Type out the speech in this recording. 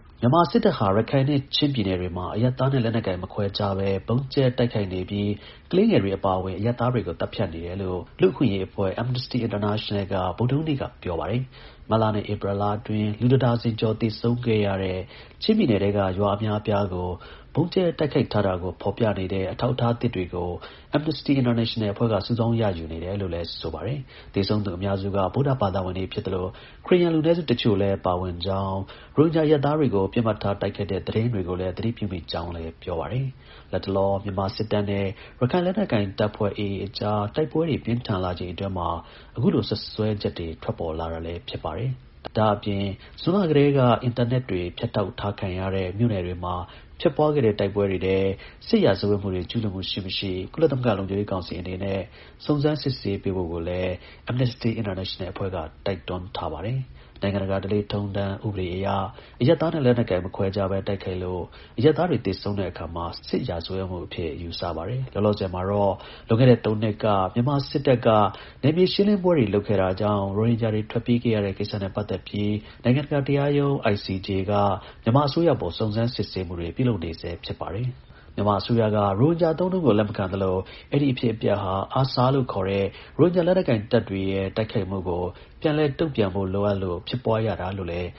မြန်မာစစ်တပ်ဟာ ရခိုင်နဲ့ ချင်းပြည်နယ်တွေမှာ အရပ်သားနဲ့ လက်နက်ကိုင် မခွဲခြားဘဲ ဗုံးကြဲတိုက်ခိုက်နေပြီး ကလေးငယ်တွေ အပါအဝင် အရပ်သားတွေကို သတ်ဖြတ်နေတယ်လို့ လူ့အခွင့်အရေးအဖွဲ့ Amnesty International က ဗုဒ္ဓဟူးနေ့က ပြောပါတယ်။ မတ်လနဲ့ ဧပြီလအတွင်း လူတစ်ဒါဇင်ကျော် သေဆုံးခဲ့ရတဲ့ ချင်းပြည်နယ်ထဲက ရွာ အများအပြားကို ဗုံးကြဲတိုက်ခိုက်ထားတာကို ပြသနေတဲ့ အထောက်အထား အသစ် တွေကို Amnesty International အဖွဲ့က စုဆောင်း ရယူနေတယ်လို့လည်း ဆိုပါတယ်။ သေဆုံးသူ အများစုက ဗုဒ္ဓဘာသာဝင်တွေ ဖြစ်သလို ခရစ်ယာန် လူနည်းစု တစ်ချို့လည်း ပါဝင်ကြောင်း၊ ရိုဟင်ဂျာ အရပ်သားတွေကို ပစ်မှတ်ထား တိုက်ခိုက်တဲ့ သတင်းတွေကိုလည်း သတိပြုမိကြောင်းလည်း ပြောပါတယ်။ လတ်တလော မြန်မာစစ်တပ်နဲ့AA အကြား တိုက်ပွဲတွေ ပြင်းထန်လာချိန်အတွင်းမှာ အခုလို စွပ်စွဲချက်တွေထွက်ပေါ်လာတာလည်း ဖြစ်ပါတယ်။ ဒါ့အပြင် ဇွန်လကတည်းက အင်တာနက်တွေ ဖြတ်တောက်ထားခံရတဲ့ မြို့နယ်တွေမှာ ဖြစ်ပွားခဲ့တဲ့ တိုက်ပွဲတွေထဲ စစ်ရာဇဝတ်မှုတွေ ကျူးလွန်မှု ရှိ-မရှိ ကုလသမဂ္ဂ လုံခြုံရေး ကောင်စီ အနေနဲ့ စုံစမ်းစစ်ဆေးပေးဖို့ကိုလည်း Amnesty International အဖွဲ့က တောင်းဆိုထားပါတယ်။ နိုင်ငံတကာ ဓလေ့ထုံးထမ်း ဥပဒေအရ အရပ်သားနဲ့ လက်နက်ကိုင် မခွဲခြားဘဲ တိုက်ခိုက်လို့ အရပ်သားတွေ သေဆုံးတဲ့အခါမှာ စစ် ရာဇဝတ်မှုအဖြစ် ယူဆပါတယ်။ လောလောဆယ်မှာတော့ လွန်ခဲ့တဲ့၃နှစ်က မြန်မာစစ်တပ်က နယ်မြေ ရှင်းလင်းပွဲတွေ လုပ်ခဲ့တာကြောင့် ရိုဟင်ဂျာတွေ ထွက်ပြေးခဲ့ ရတဲ့ကိစ္စနဲ့ပတ်သက်ပြီး နိုင်ငံတကာ တရားရုံးက မြန်မာအစိုးရအပေါ် စုံစမ်းစစ်ဆေးမှုတွေ ပြုလုပ်နေဆဲ ဖြစ်ပါတယ်။ မြန်မာအစိုးရက ရိုဟင်ဂျာ အသုံးအနှုန်းကို လက်မခံသလို အဲဒီ အဖြစ်အပျက်ဟာ ARSA လို့ခေါ်တဲ့ ရိုဟင်ဂျာ လက်နက်ကိုင်တပ်တွေရဲ့ တိုက်ခိုက်မှုကို ပြန်လည် လက်တုံ့ပြန်ဖို့ လိုအပ်လို့ ဖြစ်ပွားရတာလို့လည်း